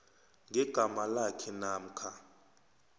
ngegama lakhe namkha